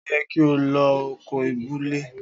O yẹ ki o lo ọkọ́ ìbulẹ̀.